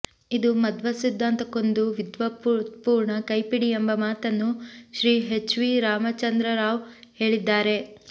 ಇದು ಮಧ್ವಸಿದ್ಧಾಂತಕ್ಕೊಂದು ವಿದ್ವತ್ಪೂರ್ಣ ಕೈಪಿಡಿ ಎಂಬ ಮಾತನ್ನು ಶ್ರೀ ಹೆಚ್ ವಿ ರಾಮಚಂದ್ರರಾವ್ ಹೇಳಿದ್ದಾರೆ